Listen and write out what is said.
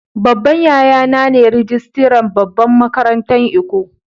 Babban yaya na ne rijistiran babban makarantan lkko.